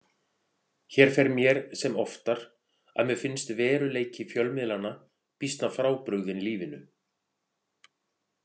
Hér fer mér sem oftar að mér finnst veruleiki fjölmiðlanna býsna frábrugðinn lífinu.